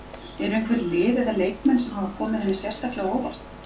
Eru einhver lið eða leikmenn sem hafa komið henni sérstaklega á óvart?